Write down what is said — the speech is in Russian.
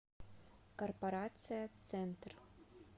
корпорация центр